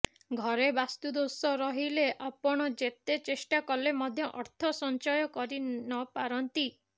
ଘରେ ବାସ୍ତୁଦୋଷ ରହିଲେ ଆପଣ ଯେତେ ଚେଷ୍ଟା କଲେ ମଧ୍ୟ ଅର୍ଥ ସଞ୍ଚୟ କରି ନପାରନ୍ତି